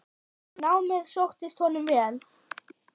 Námið sóttist honum vel.